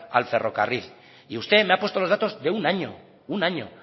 al ferrocarril y usted me ha puesto los datos de un año un año